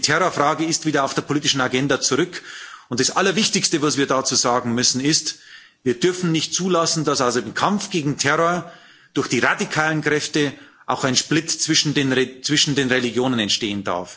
Die Terrorfrage ist wieder auf der politischen Agenda zurück, und das Allerwichtigste, was wir dazu sagen müssen, ist Wir dürfen nicht zulassen, dass also im Kampf gegen den Terror durch die radikalen Kräfte auch ein Split zwischen den Religionen entsteht.